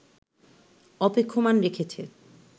অপেক্ষমাণ রেখেছে